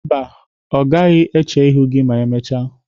Mba, ọ gaghị eche ihu gị ma emechaa.